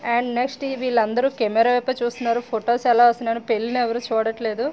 And next వీళ్ళందరూ camera వైపు చూస్తున్నారు. ఫొటోస్ ఎలా వస్తున్నాయని పెళ్లి ఎవరు చూడట్లేదు.